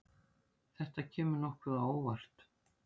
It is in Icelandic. Þetta kemur nokkuð á óvart.